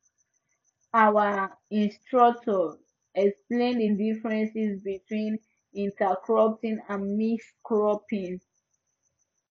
our instructor explain the difference between intercropping and mixed cropping